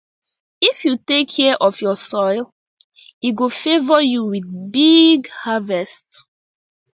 if you take care of your soil e go favour you with big harvest